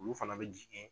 Olu fana bɛ jigin